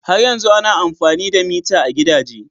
Har yanzu ana amfani da mita a gidaje.